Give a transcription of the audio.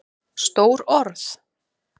Stór orð?